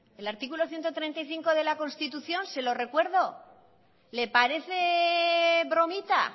el artículo ciento treinta y tres de la constitución se lo recuerdo le parece bromita